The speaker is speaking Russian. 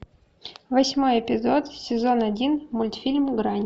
восьмой эпизод сезон один мультфильм грань